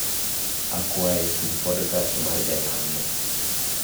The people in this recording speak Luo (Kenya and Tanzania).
akwai tug podcast mar jalango